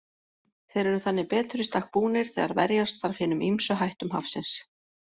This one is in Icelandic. Þeir eru þannig betur í stakk búnir þegar verjast þarf hinum ýmsu hættum hafsins.